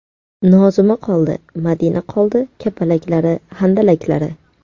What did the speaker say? Nozima qoldi, Madina qoldi – Kapalaklari, Handalaklari.